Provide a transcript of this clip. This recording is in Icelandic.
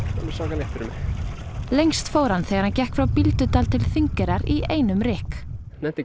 svaka létt fyrir mig lengst fór hann þegar hann gekk frá Bíldudal til Þingeyrar í einum rykk nennti ekki